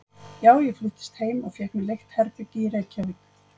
Já, ég fluttist heim og fékk mér leigt herbergi í Reykjavík.